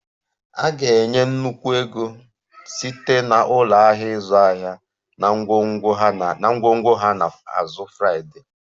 A ga-enye nnukwu ego site na ụlọ ahịa ịzụ ahịa na ngwongwo ha na azụ Friday